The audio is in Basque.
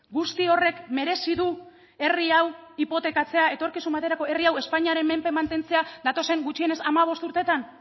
guzti horrek merezi du herri hau hipotekatzea etorkizun baterako herri hau espainiaren menpe mantentzea datozen gutxienez hamabost urtetan